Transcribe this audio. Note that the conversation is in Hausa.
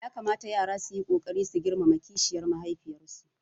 Ya kamata yara su yi ƙoƙari su girmama kishiyar mahaifiyarsu